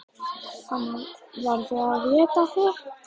Að annað verði að éta hitt.